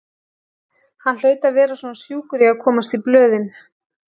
Hann hlaut að vera svona sjúkur í að komast í blöðin.